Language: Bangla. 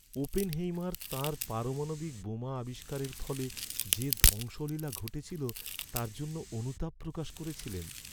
ওপেনহেইমার তাঁর পারমাণবিক বোমা আবিষ্কারের ফলে যে ধ্বংসলীলা ঘটেছিল তার জন্য অনুতাপ প্রকাশ করেছিলেন।